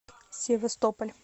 севастополь